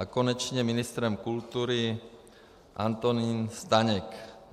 A konečně ministrem kultury Antonín Staněk.